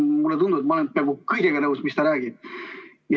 Mulle tundub, et ma olen peaaegu kõigega nõus, mis ta räägib.